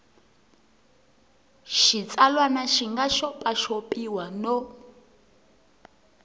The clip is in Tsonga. xitsalwana xi nga xopaxopiwa no